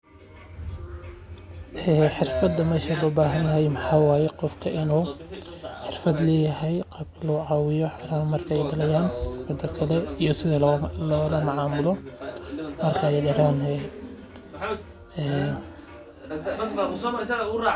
Ee xirfada meshan loo bahanahay maxa waye qofka inu xirfad leyahay qibrad iyo noca markay taliyan mida kale iyo sidi lolamacamiloodo